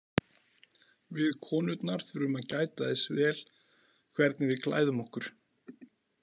Við konurnar þurfum að gæta þess vel hvernig við klæðum okkur.